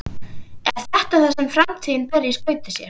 Er þetta það sem framtíðin ber í skauti sér?